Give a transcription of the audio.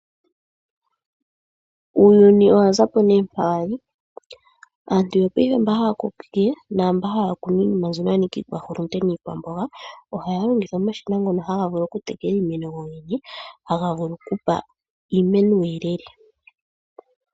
Uuyuni owa zapo nee mpa wali, aantu yopaife mba haya kokeke naamba haya kunu iinima mbyono ya nika iikwahulunde niikwamboga, ohaya longitha omashina ngono haga vulu oku tekela iimeno gogene, haga vulu oku pa iimeno uuyelele.